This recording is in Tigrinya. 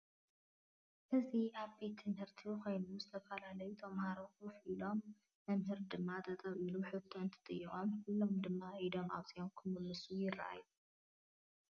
እዚ አብ ትምህርትቤት ኮይኑ ዝተፈላለዪ ተማሃሩ ከፊ ኢሎም መምህር ድማ ጠጠው ኢሉ ሕቶ እንትጥይቆም ኩሎም ድማ ኢዶም አውፂኦም ክምሉሱ ይራእዪ።